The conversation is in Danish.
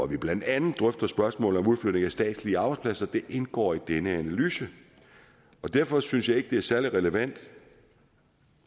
vi blandt andet drøfter spørgsmålet om udflytning af statslige arbejdspladser det indgår i denne analyse derfor synes jeg ikke det er særlig relevant